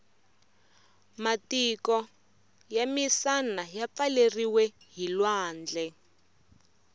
matiko yamisana yapfaleriwe hhilwandle